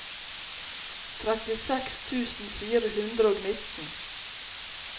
trettiseks tusen fire hundre og nitten